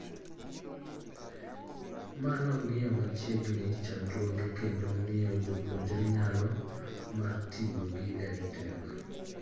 Ma nong'iyo machiegni chandruoge kendo miyo jopuonjre nyalo mar tiyo gi EdTech